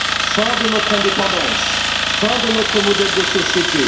Fin de notre indépendance, fin de notre modèle de société.